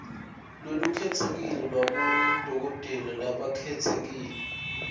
lolukhetsekile lwabodokotela labakhetsekile